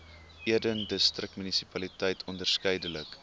eden distriksmunisipaliteit onderskeidelik